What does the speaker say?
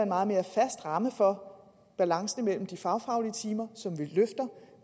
meget mere fast ramme for balancen imellem de fagfaglige timer som vi løfter